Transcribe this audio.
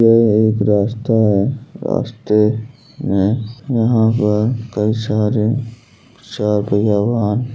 यह एक रास्ता है। रास्ते में यहां पर कई सारे चारपहिया वाहन --